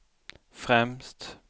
främst